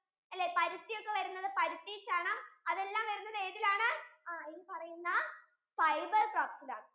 അല്ലെ പരിത്തി ചണം എല്ലാം വരുന്നത് ഏതിലാണ്? ഈ പറയുന്ന fiber crops ആണ്